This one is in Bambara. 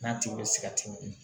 N'a tigi bɛ sigarɛti min